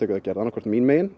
verið gerð annaðhvort mín megin